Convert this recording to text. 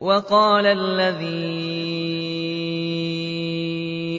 وَقَالَ الَّذِي